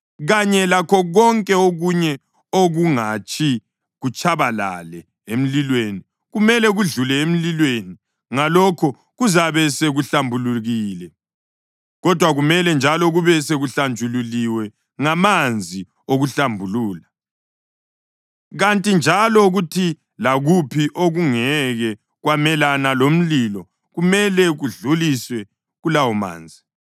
kanye lakho konke okunye okungatshi kutshabalale emlilweni kumele kudlule emlilweni, ngalokho kuzabe sekuhlambulukile. Kodwa kumele njalo kube sekuhlanjululiwe ngamanzi okuhlambulula. Kanti njalo kuthi lakuphi okungeke kwamelana lomlilo kumele kudluliswe kulawomanzi.